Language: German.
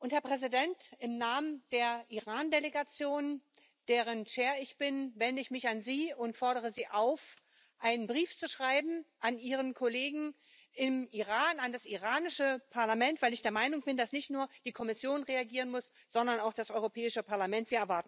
Herr Präsident, im Namen der Iran Delegation, deren Vorsitzende ich bin, wende ich mich an Sie und fordere Sie auf, einen Brief an Ihren Kollegen im Iran an das iranische Parlament zu schreiben, weil ich der Meinung bin, dass nicht nur die Kommission reagieren muss, sondern auch das Europäische Parlament.